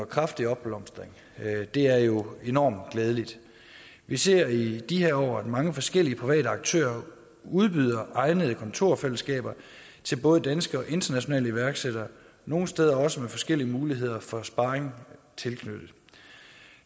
kraftig opblomstring og det er jo enormt glædeligt vi ser i de her år at mange forskellige private aktører udbyder egnede kontorfællesskaber til både danske og internationale iværksættere nogle steder også med forskellige muligheder for sparring tilknyttet